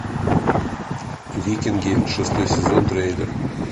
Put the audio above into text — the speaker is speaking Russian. викинги шестой сезон трейлер